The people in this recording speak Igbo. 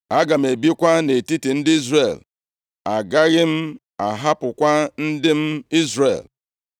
Aga m ebikwa nʼetiti ndị Izrel, agaghị m ahapụkwa ndị m, Izrel.”